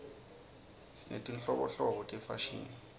sinetinhlobonhlobo tefashini